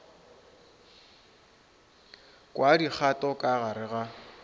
kwa dikgato ka gare ga